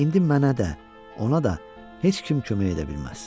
İndi mənə də, ona da heç kim kömək edə bilməz.